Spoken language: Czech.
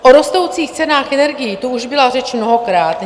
O rostoucích cenách energií tu už byla řeč mnohokrát.